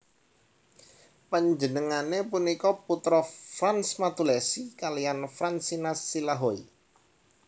Panjenengané punika putra Frans Matulesi kaliyan Fransina Silahoi